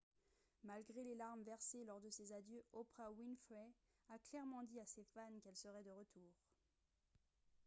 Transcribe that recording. malgré les larmes versées lors de ses adieux oprah winfrey a clairement dit à ses fans qu'elle serait de retour